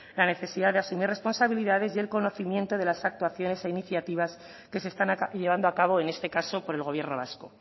la necesidad de asumir responsabilidades y el conocimiento de las actuaciones e iniciativas que se están llevando a cabo en este caso por el gobierno vasco